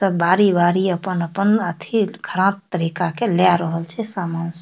त बारी-बारी अपन-अपन अथि ख़राब तरीका के लाय रहल छै सामान सब --